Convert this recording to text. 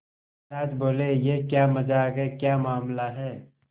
महाराज बोले यह क्या मजाक है क्या मामला है